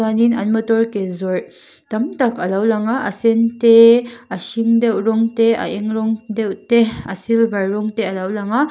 tin an motor ke zawrh tam tak alo lang a sen te a hring deuh rawng te a eng rawng deuh te a silver rawng te a lo lang a.